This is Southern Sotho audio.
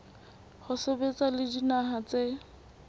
ho sebetsa le dinaha tse